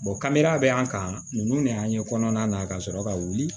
kara bɛ an kan ninnu de y'an ye kɔnɔna na ka sɔrɔ ka wuli